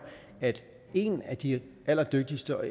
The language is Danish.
at en af de allerdygtigste og